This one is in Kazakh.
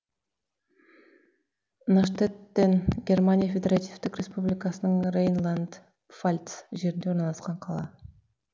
наштеттен германия федеративтік республикасының рейнланд пфальц жерінде орналасқан қала